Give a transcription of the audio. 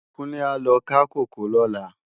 Kunle á lò ká kókòó lòlá